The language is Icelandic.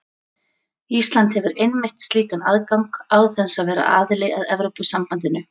Ísland hefur einmitt slíkan aðgang án þess að vera aðili að Evrópusambandinu.